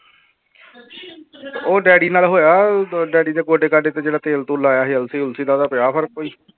ਉਹ ਡੈਡੀ ਨਾਲ ਹੋਇਆ ਉਦੋਂ ਡੈਡੀ ਦੇ ਗੋਡੇ ਗਾਡੇ ਤੇ ਜਿਹੜਾ ਤੇਲ ਤੂਲ ਲਾਇਆ ਸੀ ਅਲਸੀ ਉਲਸੀ ਦਾ ਉਹਦਾ ਪਿਆ ਫ਼ਰਕ ਕੋਈ?